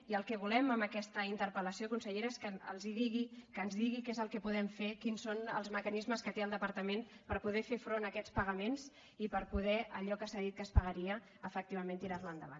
i el que volem amb aquesta interpel·lació consellera és que els digui que ens digui què és el que podem fer quins són els mecanismes que té el departament per poder fer front a aquests pagaments i per poder allò que s’ha dit que es pagaria efectivament tirarho endavant